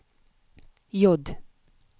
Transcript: J